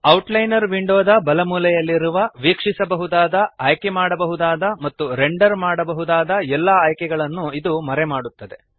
outliner ವಿಂಡೋದ ಬಲಮೂಲೆಯಲ್ಲಿರುವ ವೀಕ್ಷಿಸಬಹುದಾದ ಆಯ್ಕೆಮಾಡಬಹುದಾದ ಮತ್ತು ರೆಂಡರ್ ಮಾಡಬಹುದಾದ ಎಲ್ಲ ಆಯ್ಕೆಗಳನ್ನು ಇದು ಮರೆಮಾಡುತ್ತದೆ